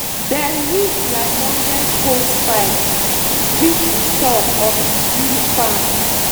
dem use their longest hosepipe reach the top of the hill farm.